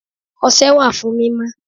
Ose wà fún mímọ.